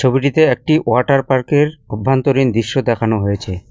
ছবিটিতে একটি water park -এর অভ্যন্তরীণ দিশ্য দেখানো হয়েছে।